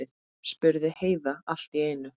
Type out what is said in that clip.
spurði Heiða allt í einu.